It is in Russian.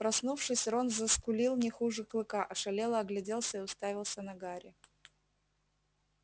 проснувшись рон заскулил не хуже клыка ошалело огляделся и уставился на гарри